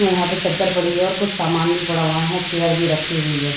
और यहां पे चद्दर पड़ी है और कुछ सामान भी पड़ा हुआ है यहां चेयर भी रखी हुई है।